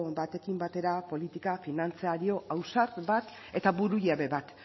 batekin batera politika finantzario ausart bat eta burujabe bat